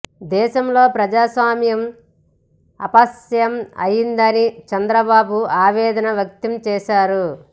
దేశంలో ప్రజాస్వామ్యం అపహాస్యం అయ్యిందని చంద్రబాబు ఆవేదన వ్యక్తం చేశారు